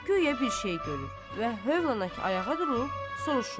Guya bir şey görür və hövlnə ki ayağa durub soruşur.